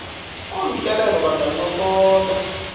kolu tyelelo bangancokola